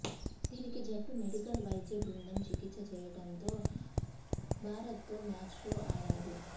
దీనికి జట్టు మెడికల్ వైద్య బృందం చికిత్స చేయడంతో భారత్తో మ్యాచ్లో ఆడాడు